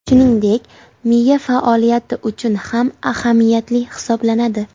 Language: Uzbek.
Shuningdek, miya faoliyati uchun ham ahamiyatli hisoblanadi.